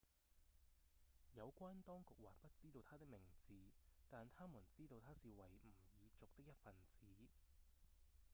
有關當局還不知道他的名字但他們知道他是維吾爾族的一份子